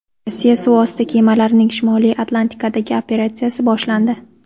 Rossiya suv osti kemalarining Shimoliy Atlantikadagi operatsiyasi boshlandi.